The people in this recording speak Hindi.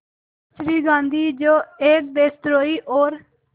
श्री गांधी जो एक देशद्रोही और